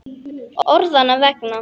Orðanna vegna.